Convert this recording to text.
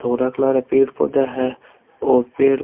धोरा colour ए पेड़ पौधा है और पेड़ --